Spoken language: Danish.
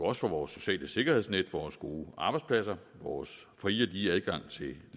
også for vores sociale sikkerhedsnet vores gode arbejdspladser vores frie og lige adgang til